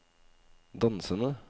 dansende